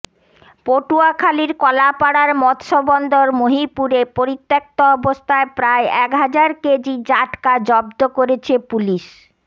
পটুয়াখালীর কলাপাড়ার মৎস্য বন্দর মহিপুরে পরিত্যক্ত অবস্থায় প্রায় এক হাজার কেজি জাটকা জব্দ করেছে পুলিশ